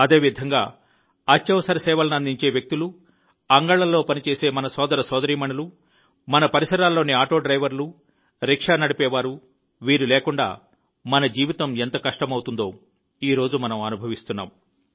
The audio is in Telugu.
అదేవిధంగా అత్యవసర సేవలను అందించే వ్యక్తులు అంగళ్లలో పనిచేసే మన సోదర సోదరీమణులు మన పరిసరాల్లోని ఆటో డ్రైవర్లు రిక్షా నడిపేవారు వీరు లేకుండా మన జీవితం ఎంత కష్టమవుతుందో ఈ రోజు మనం అనుభవిస్తున్నాము